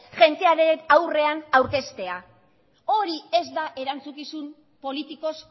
jendearen aurrean aurkeztea hori ez da erantzukizun politikoz